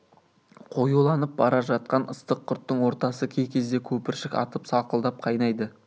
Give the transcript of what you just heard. қоюланып бара жатқан ыстық құрттың ортасы кей кезде көпіршік атып сақылдап қайнайды